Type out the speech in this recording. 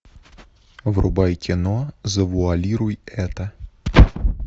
врубай кино завуалируй это